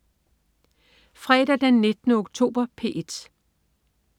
Fredag den 19. oktober - P1: